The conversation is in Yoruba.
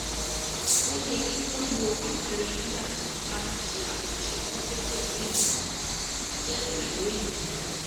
ó yẹ kí wọ́n lo àpẹẹrẹ nígbà tí wọ́n bá ń ṣe àkànṣe tó jẹ́ pẹ̀lú ènìyàn. jẹ́ pẹ̀lú ènìyàn.